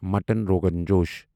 mutton rogan جوش